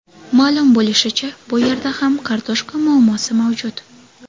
Ma’lum bo‘lishicha, bu yerda ham kartoshka muammosi mavjud.